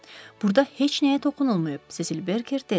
Burda heç nəyə toxunulmayıb, Sesil Berker dedi.